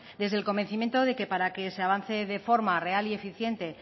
desde el convencimiento de que para que se avance de forma real y eficiente